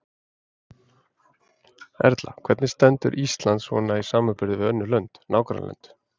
Erla: Hvernig stendur Ísland svona í samanburði við önnur lönd, nágrannalönd?